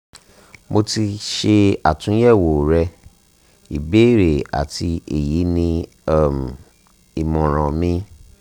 mo ti ṣe atunyẹwo rẹ ibeere ati ati eyi ni um imọran mi